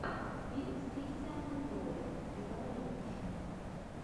фильм с кристианом бэйлом другая женщина